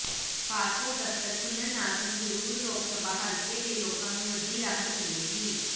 passport ਦਫ਼ਤਰ ਖੁੱਲ੍ਹਣ ਨਾਲ ਸੰਗਰੂਰ ਲੋਕ ਸਭਾ ਹਲਕੇ ਦੇ ਲੋਕਾਂ ਨੂੰ ਵੱਡੀ ਰਾਹਤ ਮਿਲੇਗੀ